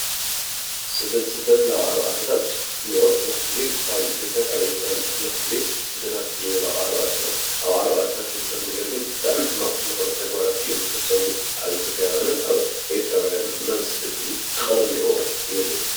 ስደት ናብ ዓረብ ዓድታት ብዙሕ ግዜ ካብ ኢ/ያ ካብ ኤርትራን ብዙሕ ግዜ ስደታት ኣብ ዓረብ ዓድታት ዝግበሩ ግን ብጣዕሚ ሕማቅ ነገራት እዮም ዝፍፀሙ፡፡ ኣብ ኢ/ያውያንን ኣብ ኤርትራውያንን እና እዚ ስደት እዚ ክቀሪ ኣለዎ እየ ዝብል፡፡